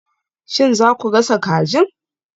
Shin za ku gasa kajin?